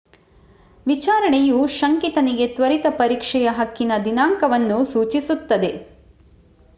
ವಿಚಾರಣೆಯು ಶಂಕಿತನಿಗೆ ತ್ವರಿತ ಪರೀಕ್ಷೆಯ ಹಕ್ಕಿನ ದಿನಾಂಕವನ್ನು ಸೂಚಿಸುತ್ತದೆ